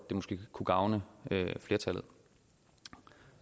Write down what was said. det måske kunne gavne flertallet